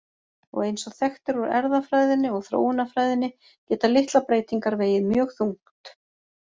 Og eins og þekkt er úr erfðafræðinni og þróunarfræðinni geta litlar breytingar vegið mjög þungt.